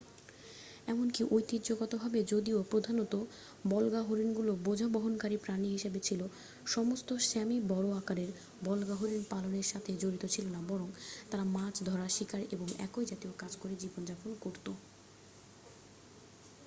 এমনকি ঐতিহ্যগতভাবে যদিও প্রধানত বল্গাহরিণগুলো বোঝা বহনকারী প্রাণী হিসেবে ছিল সমস্ত স্যামি বড় আকারের বল্গাহরিণ পালনের সাথে জড়িত ছিল না বরং তারা মাছ ধরা শিকার এবং একই জাতীয় কাজ করে জীবন যাপন করত